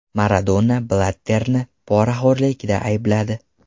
Maradona Blatterni poraxo‘rlikda aybladi.